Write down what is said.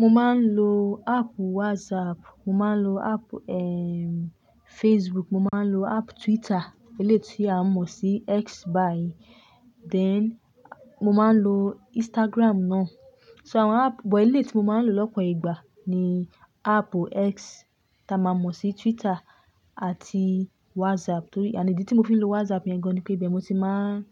Mo máa ń lo app WhatsApp, mo máa ń lo app, eh, Facebook, mo máa ń lo app Twitter eléyi tí a mọ̀ sí X báyìí. Then mo máa ń lo Instagram náà. So àwọn app, but eléyi tí mo máa ń lo lọ́pọ̀ ìgbà ni app X ta máa mọ̀ sí Twitter àti WhatsApp. Torí, ànd idí tí mo fi ń lo WhatsApp yẹn gan-an ni pé, ibẹ́ẹ̀ mo ti máa ń